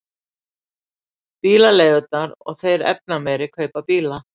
Bílaleigurnar og þeir efnameiri kaupa bíla